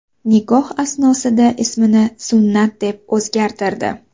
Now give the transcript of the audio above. Nikoh asnosida ismini Sunnat deb o‘zgartirdi.